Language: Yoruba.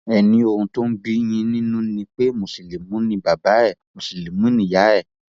ẹ ní ohun tó ń bíi yín nínú ni pé mùsùlùmí ni bàbá ẹ mùsùlùmí níyà ẹ